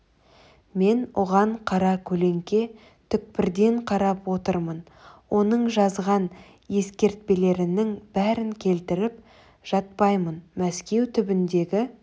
мен оған қара көлеңке түкпірден қарап отырмын оның жазған ескертпелерінің бәрін келтіріп жатпаймын мәскеу түбіндегі